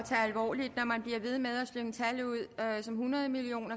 alvorligt når man bliver ved med at slynge tal som hundrede million